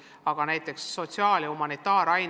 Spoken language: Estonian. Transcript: Aga meil on ka sotsiaal- ja humanitaarained.